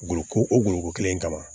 Ko o gulonko kelen in kama